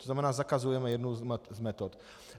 To znamená, zakazujeme jednu z metod.